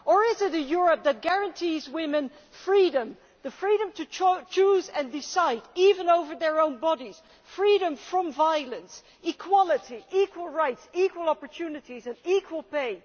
Or is it a Europe that guarantees women's freedom, the freedom to choose and decide even over their own bodies and freedom from violence, with equality, equal rights, equal opportunities and equal pay?